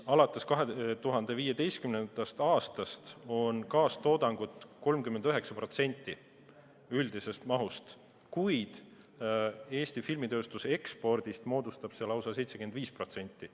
Alates 2015. aastast on kaastoodangu osa olnud 39% üldisest mahust, kuid Eesti filmitööstuse ekspordist moodustab see lausa 75%.